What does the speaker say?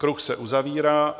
Kruh se uzavírá.